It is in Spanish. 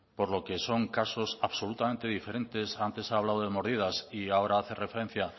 por lo que son casos absolutamente diferentes antes ha hablado de mordidas y ahora hace referencia